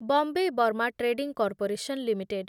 Bombay Burma trading corporation limited